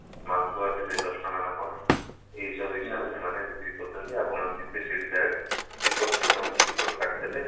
ମାଲପୁଆ ସେଠି ଦଶ ଟଙ୍କା ନା କଣ ଏଇ ସବୁ ବିଷୟରେ ମାନେ ବିକ୍ରି କରୁଛନ୍ତି ଆପଣ ଯିବେ ସେଇଠିକି ଯାଇ ଟିକଟ system ଅଛି ଟିକଟ କାଟିଦେଲେ